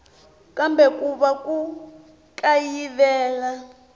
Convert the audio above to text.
kambe ku na ku kayivela